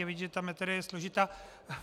Je vidět, že ta materie je složitá.